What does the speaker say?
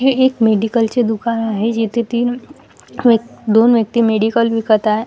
हे एक मेडिकल चे दुकान आहे जिथे तीन व्यं दोन व्यक्ती मेडिकल विकत आहे.